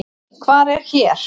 Hvar er hér?